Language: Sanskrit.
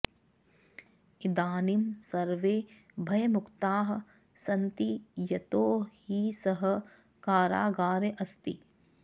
इदानीं सर्वे भयमुक्ताः सन्ति यतो हि सः कारागारे अस्ति